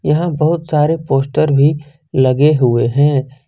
यहां बहुत सारे पोस्टर भी लगे हुए हैं।